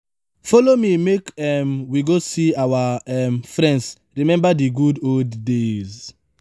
folo me make um we go see our old um friends rememba di good old days.